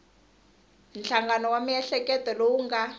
nhlangano wa miehleketo lowu nga